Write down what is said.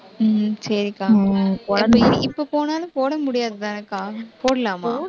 சரிக்கா ஹம் இப்ப போனாலும், போட முடியாது தானேக்கா போடலாமா